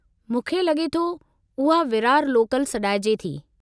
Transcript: मूंखे लगे॒ थो उहा विरार लोकल सॾाइजे थी।